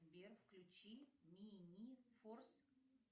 сбер включи минифорс